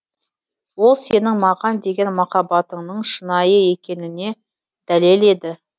ол сенің маған деген махаббатыңның шынайы екеніне дәлел еді